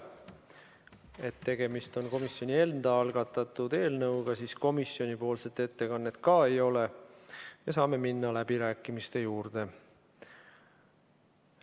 Et tegemist on komisjoni enda algatatud eelnõuga, siis komisjonipoolset ettekannet ka ei ole ja saame minna läbirääkimiste juurde.